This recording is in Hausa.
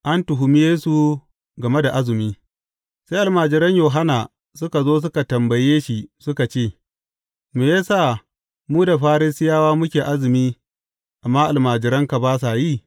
An Tuhumi Yesu game da azumi Sai almajiran Yohanna suka zo suka tambaye shi suka ce, Me ya sa mu da Farisiyawa muke azumi, amma almajiranka ba sa yi?